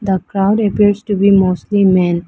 The crowd appears to be mostly men.